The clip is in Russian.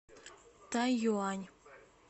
тайюань